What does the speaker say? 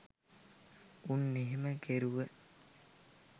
උන් එහෙම කෙරුව